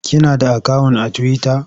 Kina da akawun a tiwita?